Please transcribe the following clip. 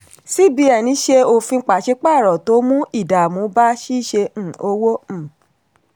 cbn ṣe òfin paṣípààrọ̀ tó mú ìdààmú bá ṣíṣe um òwò. um